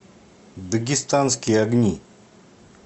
дагестанские огни